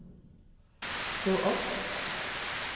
stå opp